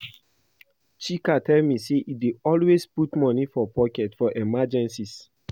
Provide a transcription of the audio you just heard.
Chika tell me say e dey always put money for pocket for emergencies